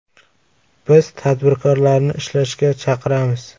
Biz tadbirkorlarni ishlashga chaqiramiz.